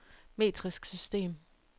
metrisk system